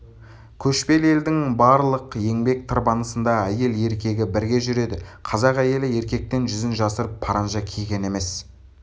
көшпелі елдің барлық еңбек тырбанысында әйел-еркегі бірге жүреді қазақ әйелі еркектен жүзін жасырып паранжа киген емес